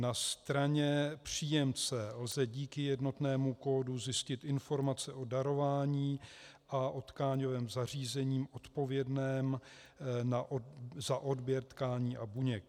Na straně příjemce lze díky jednotnému kódu zjistit informace o darování a o tkáňovém zařízení odpovědném za odběr tkání a buněk.